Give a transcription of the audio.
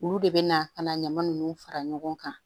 Olu de bɛ na ka na ɲaman ninnu fara ɲɔgɔn kan